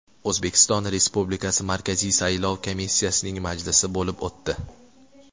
O‘zbekiston Respublikasi Markaziy saylov komissiyasining majlisi bo‘lib o‘tdi.